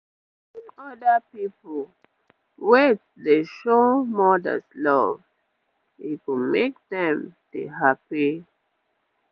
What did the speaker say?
wen oda people wait dey show mothers love e go make dem dey happy